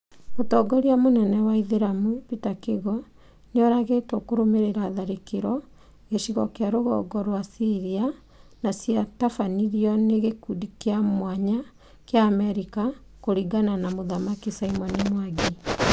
Mũtongoria mũnene wa Aithĩramu Peter Kigo, Nĩoragĩtwo kũrũmĩrĩra tharĩkĩra g ĩcigo kĩa rũgongo rwa Syria na ciatabanirio nĩ gĩkundi kĩa mwanya kĩa Amerika kũringana na mũthamaki Simon Mwangi